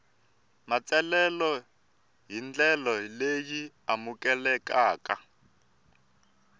matsalelo hi ndlela leyi amukelekaka